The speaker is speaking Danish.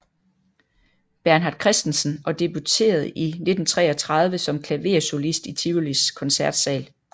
Bernhard Christensen og debuterede i 1933 som klaversolist i Tivolis Koncertsal